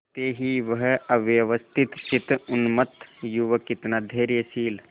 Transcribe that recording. पड़ते ही वह अव्यवस्थितचित्त उन्मत्त युवक कितना धैर्यशील